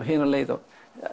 hina leið og